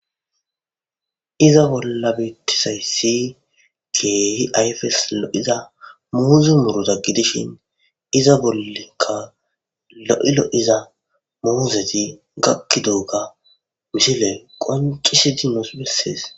iza bolla bettisay si geeyi ayfeslo7iza muuzi muruza gidishin iza bollenka lo7ilo7iza muuzeti gakki dooga wishile qoncisi dinos bessees